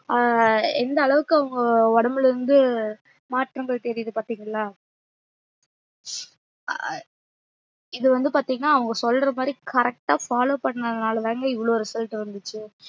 ஆஹ் எந்த அளவுக்கு அவங்க ஒடம்புல இருந்து மாற்றங்கள் தெறித்து பாத்திங்களா அஹ் இது வந்து பாத்திங்கன்னா அவங்க சொல்றமாறி correct அஹ் follow பன்னதுனால தாங்க இவ்ளோ result வந்துச்சு